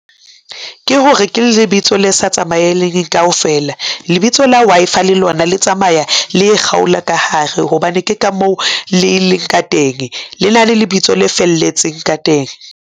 Ke hore ke lebitso le sa tsamaeleng kaofela. Lebitso la Wi-Fi le lona le tsamaya le e kgaola ka hare hobane ke ka mo le leng ka teng le na le lebitso le felletseng ka teng.